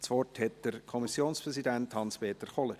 Das Wort hat der Kommissionspräsident Hans-Peter Kohler.